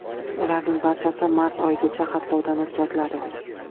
Ularning barchasi mart oyigacha xatlovdan o‘tkaziladi.